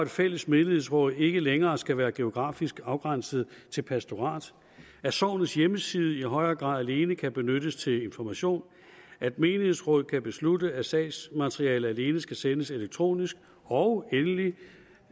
fælles menighedsråd ikke længere skal være geografisk afgrænset til pastoratet at sognets hjemmeside i højere grad alene kan benyttes til information at menighedsråd kan beslutte at sagsmateriale alene skal sendes elektronisk og endelig